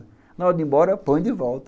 Na hora de ir embora, põe de volta.